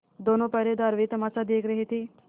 दोनों पहरेदार वही तमाशा देख रहे थे